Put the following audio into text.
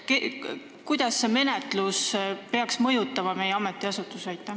Kuidas see menetlus peaks mõjutama meie ametiasutusi?